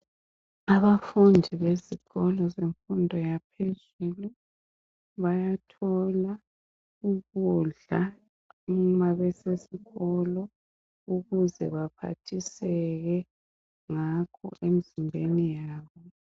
Abafundi besikolo semfundo yaphezulu bayathola ukudla uma besesikolo ukuze baphathiseke ngakho emizimbeni yabo.